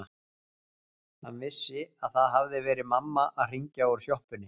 Hann vissi að það hafði verið mamma að hringja úr sjoppunni.